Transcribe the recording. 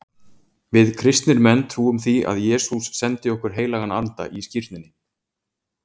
Við kristnir menn trúum því að Jesús sendi okkur heilagan anda í skírninni.